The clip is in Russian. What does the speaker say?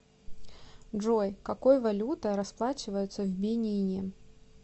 джой какой валютой расплачиваются в бенине